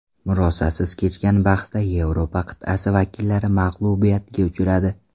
Murosasiz kechgan bahsda Yevropa qit’asi vakillari mag‘lubiyatga uchradi.